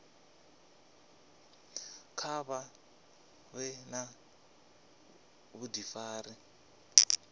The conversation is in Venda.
kha vha vhe na vhudifari